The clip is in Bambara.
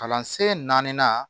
Kalansen naani